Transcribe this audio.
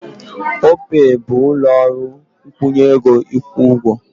Opey bụ ụlọ ọrụ nkwụnye ego ịkwụ ụgwọ.